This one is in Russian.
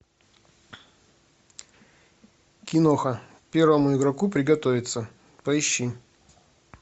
киноха первому игроку приготовиться поищи